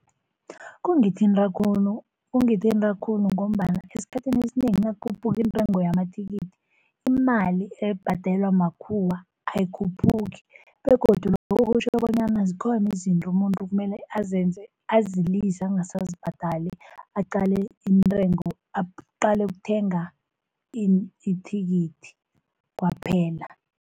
Kungithinta khulu, kungithinta khulu ngombana esikhathini esinengi nakukhuphuka iintengo yamathikithi imali ebhadelwa makhuwa ayikhuphuki. Begodu lokho kutjho bonyana zikhona izinto umuntu kumele azenze, azilise angasazibhadali aqale intengo, aqale ukuthenga ini, ithikithi kwaphela.